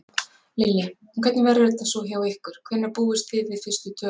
Lillý: En hvernig verður þetta svo hjá ykkur, hvenær búist þið við fyrstu tölum?